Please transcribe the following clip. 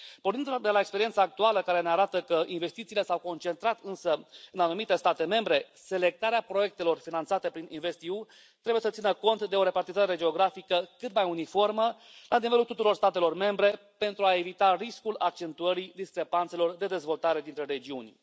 Pornind de la experiența actuală, care ne arată că investițiile s au concentrat, însă, în anumite state membre, selectarea proiectelor finanțate prin InvestEU trebuie să țină cont de o repartizare geografică cât mai uniformă la nivelul tuturor statelor membre, pentru a evita riscul accentuării discrepanțelor de dezvoltare dintre regiuni.